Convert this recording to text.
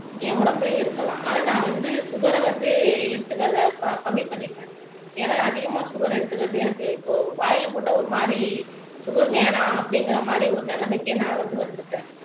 என் உடம்புலயும் இருக்கலாம் ஆனா நான் வந்து சுகர வந்து எடுத்துக்கறதை க கம்மி பண்ணிட்டேன் ஏன்னா அதிகமா சுகர் எடுத்துக்கறது எனக்கு இப்போ வாயில போட்டா ஒரு மாதிரி சுகர் வேணாம் அப்படிங்கிற மாதிரி ஒரு நிலைமைக்கே நான் வந்து வந்துட்டேன்